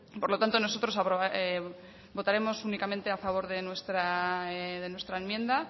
por lo tanto nosotros votaremos únicamente a favor de nuestra enmienda